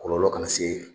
Kɔlɔlɔ kana se